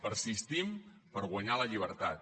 persistim per guanyar la llibertat